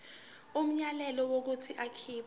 umyalelo wokuthi akhipha